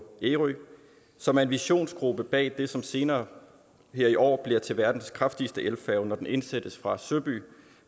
ærø som er en visionsgruppe bag det som senere her i år bliver til verdens kraftigste elfærge når den indsættes fra søby